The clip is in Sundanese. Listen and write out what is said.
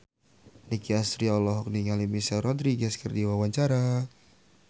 Nicky Astria olohok ningali Michelle Rodriguez keur diwawancara